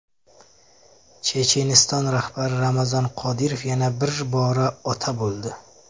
Checheniston rahbari Ramzan Qodirov yana bir bora ota bo‘ldi.